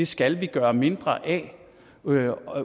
skal vi gøre mindre af